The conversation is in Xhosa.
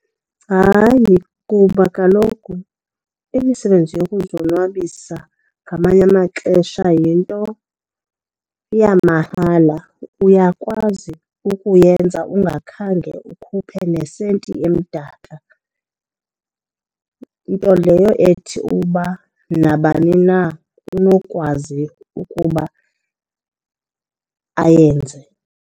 Hayi, kuba kaloku imisebenzi yokuzonwabisa ngamanye amaxesha yinto yamahala. Uyakwazi ukuyenza ungakhange ukhuphe nesenti emdaka, nto leyo ethi uba nabani na unokwazi ukuba ayenze.